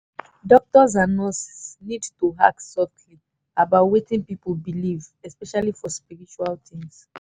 doctors and nurses need to ask softly about wetin people believe especially for spiritual things.